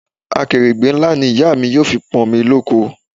Akèrègbè ńlá ni ìyá mi yóò fi pọ̀n omi loko